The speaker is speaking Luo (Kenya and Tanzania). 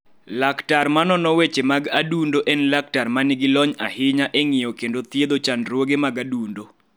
Laktar ma nono weche mag adundo en laktar ma nigi lony ahinya e ng�iyo kendo thiedho chandruoge mag adundo.